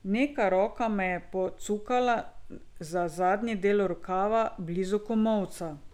Neka roka me je pocukala za zadnji del rokava, blizu komolca.